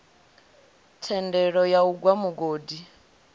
thendelo ya u gwa mugodi